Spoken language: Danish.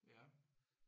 Ja